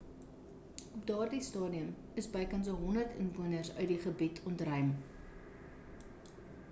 op daardie stadium is bykans 100 inwoners uit die gebied ontruim